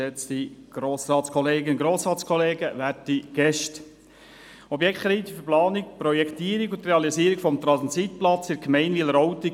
der BaK. Objektkredit für die Planung, die Projektierung und die Realisierung eines Transitplatzes in der Gemeinde Wileroltigen